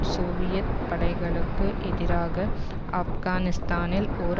Soviet படைகளுக்கு எதிராக ஆப்கானிஸ்தானில் ஓர்